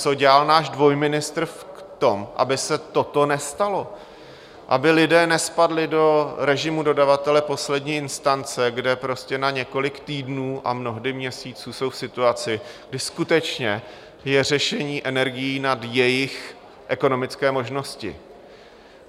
Co dělal náš dvojministr v tom, aby se toto nestalo, aby lidé nespadli do režimu dodavatele poslední instance, kde prostě na několik týdnů a mnohdy měsíců jsou v situaci, kdy skutečně je řešení energií nad jejich ekonomické možnosti?